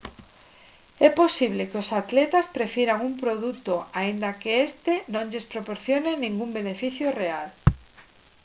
é posible que os atletas prefiran un produto aínda que este non lles proporcione ningún beneficio real